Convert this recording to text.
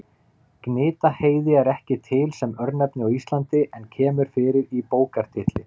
Gnitaheiði er ekki til sem örnefni á Íslandi en kemur fyrir í bókartitli.